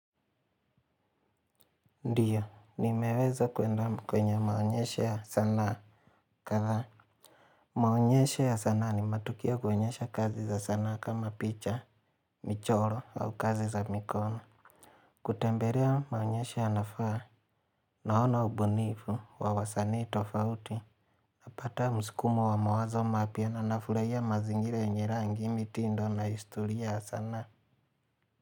Ndiyo, nimeweza kwenda kwenye maonyesho ya sanaa kadhaa. Maonyesho ya sanaa ni matukio kuonyesha kazi za sanaa kama picha, michoro au kazi za mikono. Kutembelea maonyesho yanafaa naona ubunifu wa wasanii tofauti. Napata msukumo wa mawazo mapya na nafurahia mazingira yenye rangi, mitindo na historia ya sanaa.